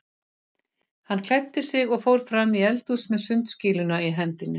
Hann klæddi sig og fór fram í eldhús með sundskýluna í hendinni.